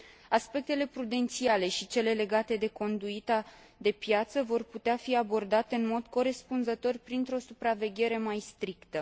Aspectele prudențiale și cele legate de conduita de piață vor putea fi abordate în mod corespunzător, printr o supraveghere mai strictă.